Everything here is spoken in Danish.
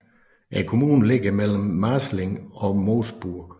Kommunen ligger mellem Marzling og Moosburg